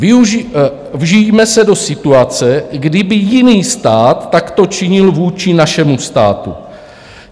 Vžijme se do situace, kdyby jiný stát takto činil vůči našemu státu.